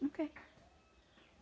Não quer.